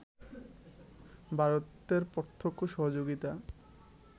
ভারতের প্রত্যক্ষ সহযোগিতা